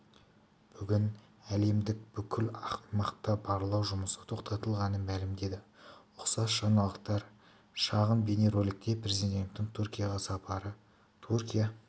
бүгін әкімдік бұл аймақта барлау жұмысы тоқтатылғанын мәлімдеді ұқсас жаңалықтар шағын бейнероликте президенттің түркияға сапары түркия